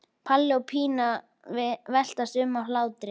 Palli og Pína veltast um af hlátri.